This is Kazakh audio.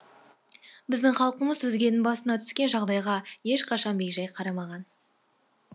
біздің халқымыз өзгенің басына түскен жағдайға ешқашан бейжай қарамаған